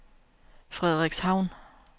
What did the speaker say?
Frederikshavn